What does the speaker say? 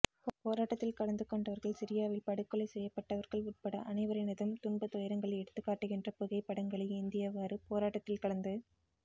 போராட்டத்தில் கலந்து கொண்டவர்கள் சிரியாவில் படுகொலை செய்யப்பட்டவர்கள் உட்பட அனைவரினதும் துன்ப துயரங்களை எடுத்துக்காட்டுகின்ற புகைப்படங்களை ஏந்தியவாறு போராட்டத்தில் கலந்து